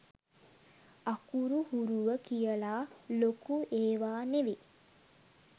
අකුරු හුරුව කියලා ලොකු ඒවා නෙවේ